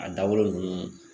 A dabɔlen ninnu